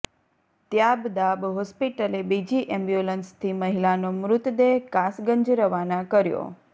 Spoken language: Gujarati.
ત્યાબદાબ હોસ્પિટલે બીજી એમ્બ્યુલન્સથી મહિલાનો મૃતદેહ કાસગંજ રવાના કર્યો